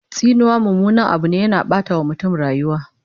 Tsinuwa mummunan Abu ne, yana Ɓata wa mutum rayuwa